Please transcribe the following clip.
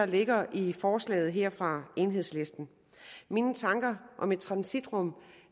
ligger i forslaget her fra enhedslisten mine tanker om et transitrum